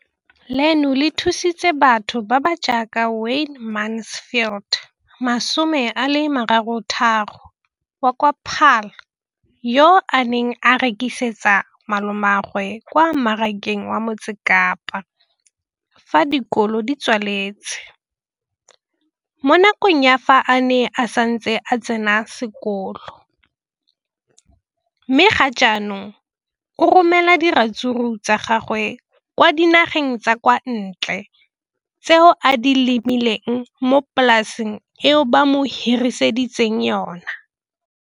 Leno le thusitse batho ba ba jaaka Wayne Mansfield, 33, wa kwa Paarl, yo a neng a rekisetsa malomagwe kwa Marakeng wa Motsekapa fa dikolo di tswaletse, mo nakong ya fa a ne a santse a tsena sekolo, mme ga jaanong o romela diratsuru tsa gagwe kwa dinageng tsa kwa ntle tseo a di lemileng mo polaseng eo ba mo hiriseditseng yona.